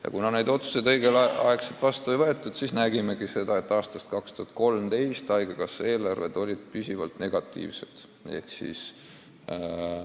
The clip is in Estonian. Ja kuna neid otsuseid õigel ajal vastu ei võetud, siis ongi aastast 2013 haigekassa eelarved püsivalt negatiivsed olnud.